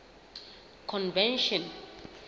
convention